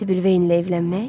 Sibil Veynlə evlənmək?